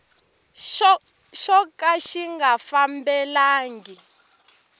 xo ka xi nga fanelangi